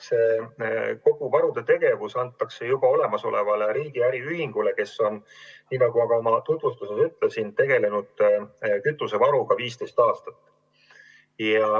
Kogu varudega seotud tegevus antakse juba olemasolevale riigi äriühingule, kes on, nagu ma ka oma tutvustuses ütlesin, tegelenud kütusevaruga 15 aastat.